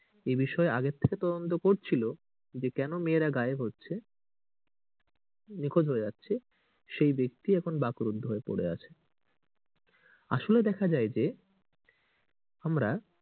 এই বিষয়ে আগে থেকে তদন্ত করছিলো যে কেন মেয়েরা গায়েব হচ্ছে নিখোঁজ হয়ে যাচ্ছে সেই ব্যাক্তি এখন বাকরুদ্ধ হয়ে পড়ে আছে। আসলে দেখা যায় যে আমরা